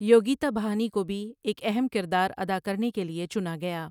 ٍیوگیتا بہانی کو بھی ایک اہم کردار ادا کرنے کے لیے چنا گیا۔